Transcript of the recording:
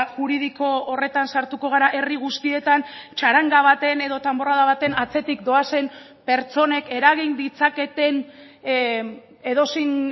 juridiko horretan sartuko gara herri guztietan txaranga baten edo danborrada baten atzetik doazen pertsonek eragin ditzaketen edozein